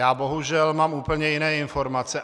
Já bohužel mám úplně jiné informace.